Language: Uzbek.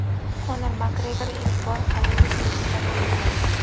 Konor Makgregor ilk bor "Hollywood" filmida rol ijro etadi;.